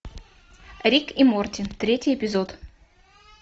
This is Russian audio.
рик и морти третий эпизод